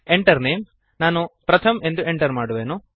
Enter Name ನಾನು ಪ್ರಥಮ್ ಎಂದು enter ಮಾಡುವೆನು